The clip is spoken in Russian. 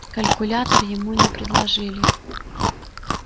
калькулятор ему не предложили